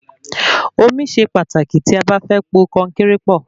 Omi ṣe pàtàkì tí a bá fẹ́ po konkéré pọ̀